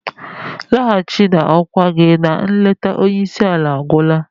Nlaghachi na okwá gi na nleta onye isi ala agwụla!.